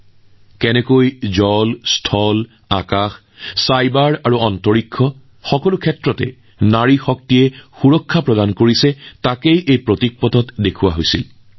ইয়াত দেখা গল যে নাৰী শক্তিয়ে কেনেদৰে প্ৰতিটো ক্ষেত্ৰতেপানী ভূমি আকাশ চাইবাৰ আৰু মহাকাশত দেশক সুৰক্ষা দি আছে